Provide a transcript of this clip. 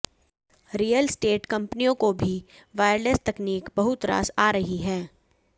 real estate कंपनियों को भी वायरलेस तकनीक बहुत रास आ रही है